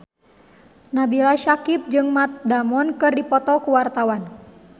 Nabila Syakieb jeung Matt Damon keur dipoto ku wartawan